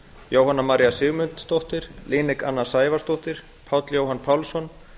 jóhanna maría sigmundsdóttir líneik anna sævarsdóttir páll jóhann pálsson